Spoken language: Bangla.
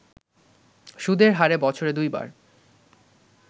সুদের হারে বছরে দুইবার